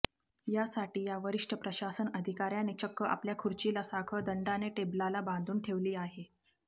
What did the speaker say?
यासाठी या वरिष्ठ प्रशासन अधिकाऱ्याने चक्क आपल्या खुर्चीला साखळ दंडाने टेबलाला बांधून ठेवली आहे